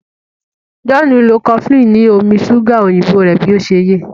John nlọ cofflin ni omí ṣuga òyìnbó rẹ bí ọṣẹ yé.